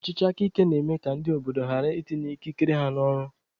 Ọchịchị aka ike na-eme ka ndị obodo ghara itinye ikikere ha n'ọrụ.